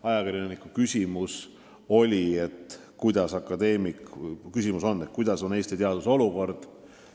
Ajakirjanik küsis, milline on praegu Eesti teaduse olukord.